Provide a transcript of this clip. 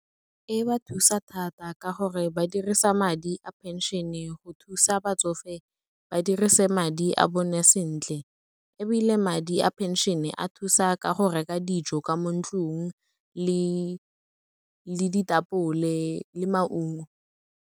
E ba thusa thata ka gore ba dirisa madi a phenšene go thusa batsofe ba dirise madi a bone sentle, ebile madi a phenšene, a thusa ka go reka dijo ka mo ntlong le ditapole le maungo.